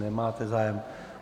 Nemáte zájem.